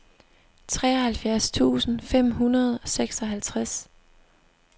treoghalvfjerds tusind fem hundrede og seksoghalvtreds